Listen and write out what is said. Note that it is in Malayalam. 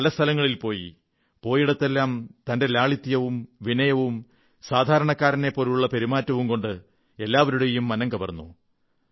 പല സ്ഥലങ്ങളിൽ പോയി പോയിടത്തെല്ലാം തന്റെ ലാളിത്യവും വിനയവും സാധാരണക്കാരനെപ്പോലുള്ള പെരുമാറ്റവും കൊണ്ട് എല്ലാവരുടെയും മനം കവർന്നു